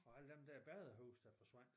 Og alle dem der badehuse der forsvandt